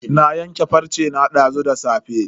Na yanke farce na dazu da safe.